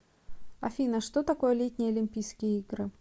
афина что такое летние олимпийские игры